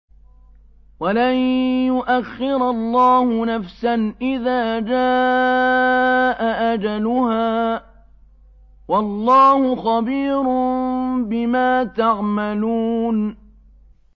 وَلَن يُؤَخِّرَ اللَّهُ نَفْسًا إِذَا جَاءَ أَجَلُهَا ۚ وَاللَّهُ خَبِيرٌ بِمَا تَعْمَلُونَ